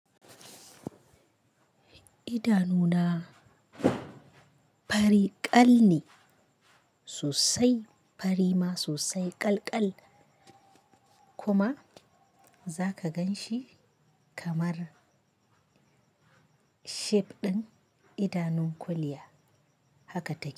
Idanuna fari ƙal ne sosai, fari ma sosai ƙal ƙal kuma za ka gan shi kamar shape ɗin idanun kuliya haka take.